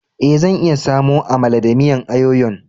Eh, zan iya samo Amala da miyan ayoyo'n.